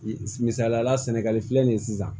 Misaliyala sɛnɛgali filɛ nin ye sisan